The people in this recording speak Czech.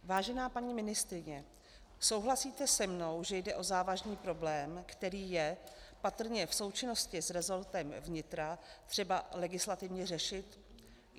Vážená paní ministryně, souhlasíte se mnou, že jde o závažný problém, který je patrně v součinnosti s resortem vnitra třeba legislativně řešit?.